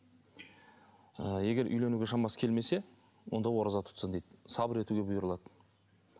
ы егер үйленуге шамасы келмесе онда ораза тұтсын дейді сабыр етуге бұйырылады